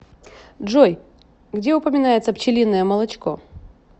джой где упоминается пчелиное молочко